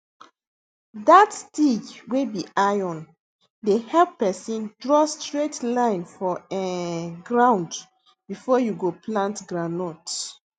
dat stick wey be iron dey help pesin draw straight line for um ground before you go plant groundnut